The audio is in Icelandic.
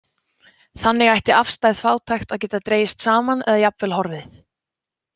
Þannig ætti afstæð fátækt að geta dregist saman eða jafnvel horfið.